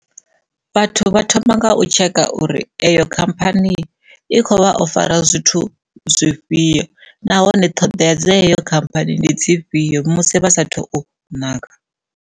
Vhathu vha thoma nga u tsheka uri eyo khamphani i kho vha ofara zwithu zwifhio nahone ṱhoḓea dza eyo khamphani ndi dzifhio musi vha saathu nanga.